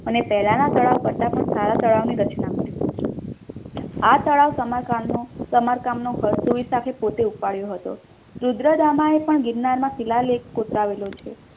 અને પહેલાંના તળાવ કરતાં પણ સારા તળાવની રચના કર આ તળાવ સમારકામનું ખર્ચો વિશળદેવી પોતે ઉપાડ્યો હતો રુદ્રદામા એ પણ ગિરનારમાં શિલાલેખ કોતરાવેલો છે.